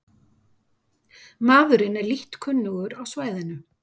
Maðurinn er lítt kunnugur á svæðinu